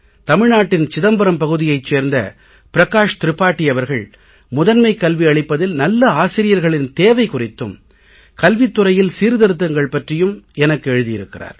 தமிழ்நாட்டின் சிதம்பரம் பகுதியைச் சேர்ந்த ப்ரகாஷ் த்ரிபாடி அவர்கள் முதன்மைக் கல்வி அளிப்பதில் நல்ல ஆசிரியர்களின் தேவை குறித்தும் கல்வித் துறையில் சீர்திருத்தங்கள் பற்றியும் எனக்கு எழுதியிருக்கிறார்